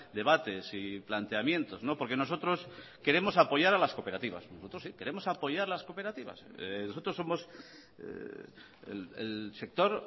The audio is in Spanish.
debates y planteamientos porque nosotros queremos apoyar a las cooperativas nosotros sí queremos apoyar las cooperativas nosotros somos el sector